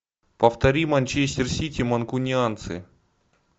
повтори манчестер сити манкунианцы